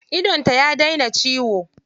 Idonta ya daina ciwo.